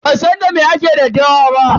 Ban san da me ake daddawa ba.